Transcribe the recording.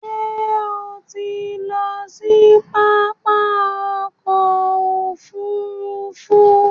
Ṣé o ti ń lọ sí pápá ọkò òfurufú ni?